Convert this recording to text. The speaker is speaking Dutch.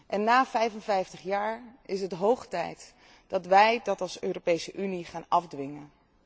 En na 55 jaar is het hoog tijd dat wij dat als Europese Unie gaan afdwingen.